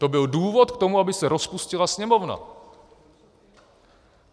To byl důvod k tomu, aby se rozpustila Sněmovna.